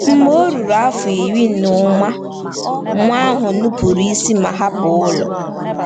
Mgbe o ruru afọ iri na ụma, nwa ahụ nupụrụ isi ma hapụ ụlọ.